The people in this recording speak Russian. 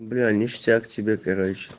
бля ништяк тебе короче